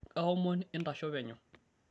kaomon intasho penyo